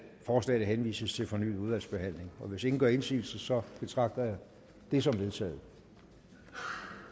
forslagene henvises til fornyet udvalgsbehandling og hvis ingen gør indsigelse betragter jeg det som vedtaget